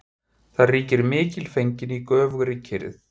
Þar ríkir mikilfengleikinn í göfugri kyrrð.